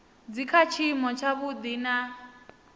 dzi kha tshiimo tshavhuḓi na